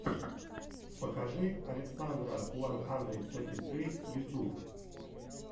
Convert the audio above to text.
покажи александра уан хандрид сети сри ютьюб